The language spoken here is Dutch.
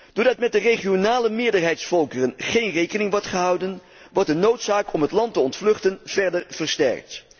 Doordat met de regionale meerderheidsvolkeren geen rekening wordt gehouden, wordt de noodzaak om het land te ontvluchten verder versterkt.